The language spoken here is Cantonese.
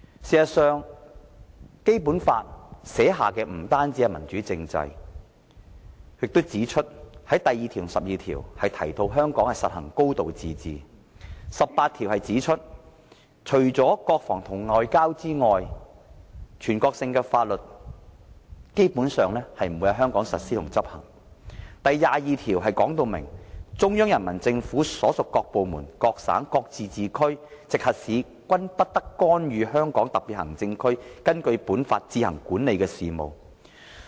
事實上，《基本法》訂定的不單是民主政制，第二條及第十二條還提到香港實行"高度自治"；第十八條指出除國防和外交外，全國性法律基本上不會在香港實施和執行；第二十二條則訂明"中央人民政府所屬各部門、各省、自治區、直轄市均不得干預香港特別行政區根據本法自行管理的事務"。